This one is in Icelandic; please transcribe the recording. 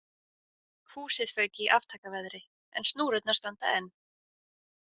Húsið fauk í aftakaveðri en snúrurnar standa enn.